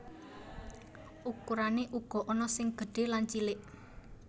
Ukurané uga ana sing gedhé lan cilik